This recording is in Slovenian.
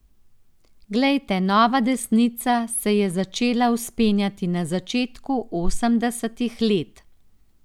Glejte, nova desnica se je začela vzpenjati na začetku osemdesetih let.